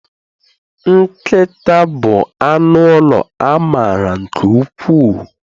Nkịta bụ anụ ụlọ a mara nke ukwuu